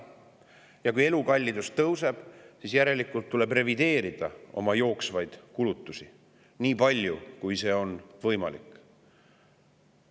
Ja kui elukallidus tõuseb, siis tuleb järelikult revideerida oma jooksvaid kulutusi nii palju, kui see on võimalik.